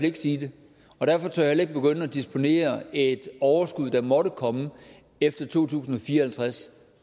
ikke sige det og derfor tør jeg heller begynde at disponere et overskud der måtte komme efter to tusind og fire og halvtreds